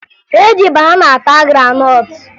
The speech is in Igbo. E ji banana ata granọtụ